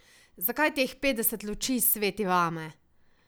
Zakaj teh petdeset luči sveti vame?